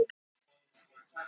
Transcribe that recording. En hvaða fjölda staka?